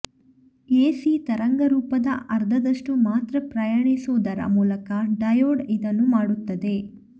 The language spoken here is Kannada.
ಎಸಿ ತರಂಗರೂಪದ ಅರ್ಧದಷ್ಟು ಮಾತ್ರ ಪ್ರಯಾಣಿಸುವುದರ ಮೂಲಕ ಡಯೋಡ್ ಇದನ್ನು ಮಾಡುತ್ತದೆ